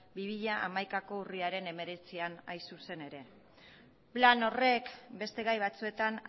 bi mila hamaikako urriaren hemeretzian hain zuzen ere plan horrek beste gai batzuetan